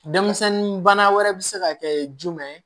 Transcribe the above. Denmisɛnnin bana wɛrɛ bɛ se ka kɛ jumɛn ye